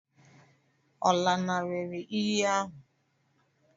Ọ̀ lanarịrị iyi ahụ?